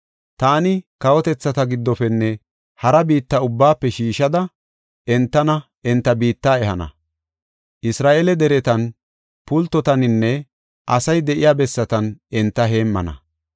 Taani kawotethata giddofenne hara biitta ubbaafe shiishanada, entana, enta biitta ehana. Isra7eele deretan, pultotaninne asay de7iya bessatan enta heemmana.